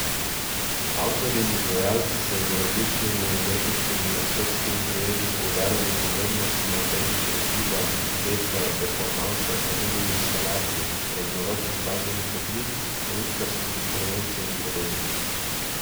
Avtorji in izvajalci so z različnimi umetniškimi in estetskimi prijemi poudarjali pomembnost in avtentičnost giba, plesa, performansa, pa tudi instalacij, raznovrstnih glasbenih oblik, lutkarskih intervencij in podobno.